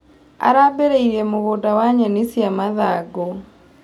Arambirie mũgũnda wa nyeni cia mathangũ.